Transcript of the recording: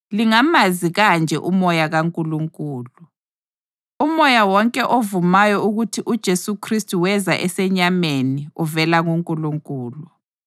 Lingamazi kanje uMoya kaNkulunkulu: Umoya wonke ovumayo ukuthi uJesu Khristu weza esenyameni uvela kuNkulunkulu,